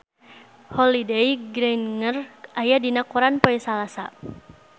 Holliday Grainger aya dina koran poe Salasa